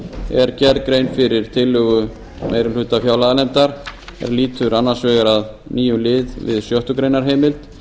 er gerð grein fyrir tillögu meiri hluta fjárlaganefnd er lýtur annars vegar að nýjum lið við sjöttu greinar heimild